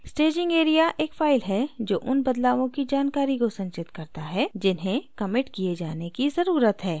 staging area एक file है जो उन बदलावों की जानकारी को संचित करता है जिन्हे कमिट किये जाने की ज़रुरत है